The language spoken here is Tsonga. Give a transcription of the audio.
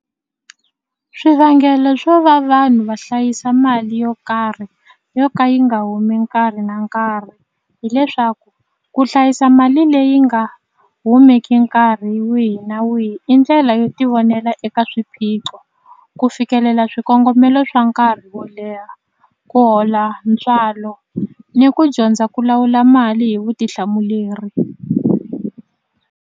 Swivangelo swo va vanhu va hlayisa mali yo karhi yo ka yi nga humi nkarhi na nkarhi hileswaku ku hlayisa mali leyi nga humeki nkarhi wihi na wihi i ndlela yo tivonela eka swiphiqo ku fikelela swikongomelo swa nkarhi wo leha ku hola ntswalo ni ku dyondza ku lawula mali hi vutihlamuleri.